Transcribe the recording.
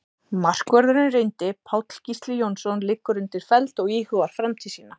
Markvörðurinn reyndi Páll Gísli Jónsson liggur undir feld og íhugar framtíð sína.